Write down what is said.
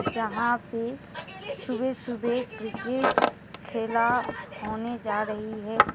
जहाँ पे सुबह सुबह क्रिकेट खेला होने जा रही है।